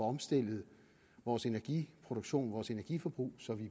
omstillet vores energiproduktion vores energiforbrug så vi